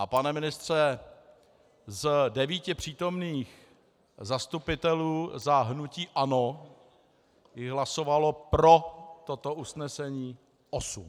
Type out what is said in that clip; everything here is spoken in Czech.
A pane ministře, z devíti přítomných zastupitelů za hnutí ANO jich hlasovalo pro toto usnesení osm.